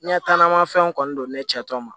Ɲɛtaa na fɛnw kɔni don ne cɛ tɔ ma